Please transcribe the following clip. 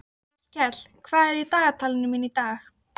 Hallkell, hvað er í dagatalinu mínu í dag?